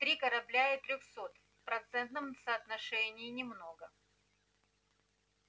три корабля и трёхсот процентном соотношении немного